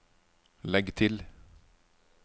legg til